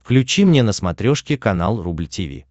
включи мне на смотрешке канал рубль ти ви